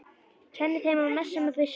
Kenni þeim að messa með byssu?